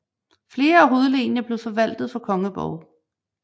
Flere af hovedlenene blev forvaltet fra kongeborge